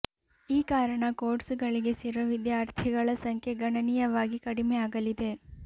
ಈ ಕಾರಣ ಕೋರ್ಸುಗಳಿಗೆ ಸೇರುವ ವಿದ್ಯಾರ್ಥಿಗಳ ಸಂಖ್ಯೆ ಗಣನೀಯವಾಗಿ ಕಡಿಮೆ ಆಗಲಿದೆ